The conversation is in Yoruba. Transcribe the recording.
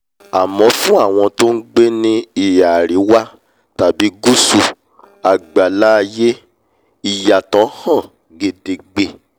àmọ́ fún àwọn tó ngbé ní ìhà aríwá tàbí gùsù àgbálá-aiyé ìyàtọ̀ hàn gedegbe